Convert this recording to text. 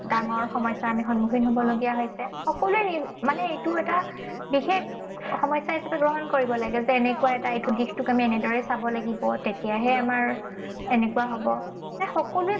ডাঙৰ সমস্যাৰ আমি সন্মুখীন হবলগীয়া হৈছে। সকলোৱে মানে এইটো এটা বিশেষ সমস্যা হিছাপে গ্ৰহণ কৰিব লাগে। যে এনেকুৱা এটা এইটো দিশটোক আমি এনেদৰে চাব লাগিব, তেতিয়াহে আমাৰ এনেকুৱা হব। সেয়া সকলোৱে